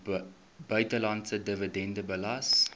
buitelandse dividende belas